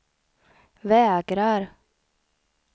vägrar